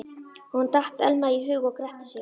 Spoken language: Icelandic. Honum datt Elma í hug og gretti sig.